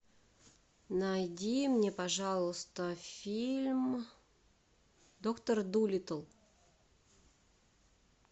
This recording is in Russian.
найди мне пожалуйста фильм доктор дулиттл